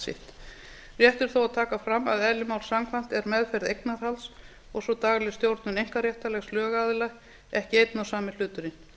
er þó að taka fram að eðli máls samkvæmt er meðferð eignarhalds og svo dagleg stjórnun eignarréttarlegs lögaðila ekki einn og sami hluturinn